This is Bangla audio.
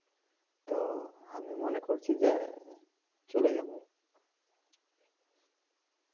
তো আমি মনে করছি যে চলে যামু